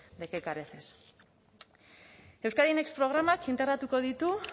de qué careces euskadi next programak integratuko ditu